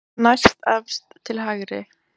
Næstefst til hægri.